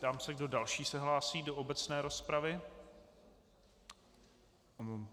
Ptám se, kdo další se hlásí do obecné rozpravy.